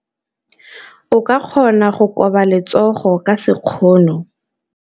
O ka kgona go koba letsogo ka sekgono.